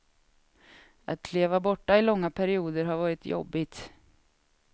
Att leva borta i långa perioder har varit jobbigt.